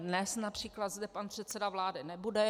Dnes například zde pan předseda vlády nebude.